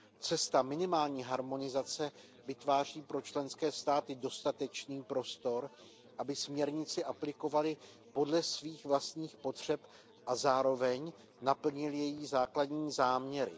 Cesta minimální harmonizace vytváří pro členské státy dostatečný prostor, aby směrnici aplikovaly podle svých vlastních potřeb a zároveň naplnily její základní záměry.